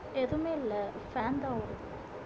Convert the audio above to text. எதுவுமே இல்லை பேன் தான் ஓடுது